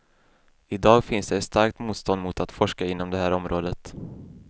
I dag finns det ett starkt motstånd mot att forska inom det här området.